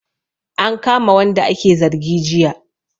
An kama wanda ake zargi jiya